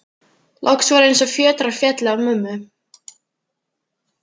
Loks var eins og fjötrar féllu af mömmu.